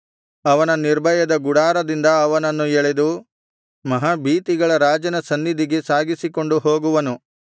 ಅವನ ನಿರ್ಭಯದ ಗುಡಾರದಿಂದ ಅವನನ್ನು ಎಳೆದು ಮಹಾಭೀತಿಗಳ ರಾಜನ ಸನ್ನಿಧಿಗೆ ಸಾಗಿಸಿಕೊಂಡು ಹೋಗುವನು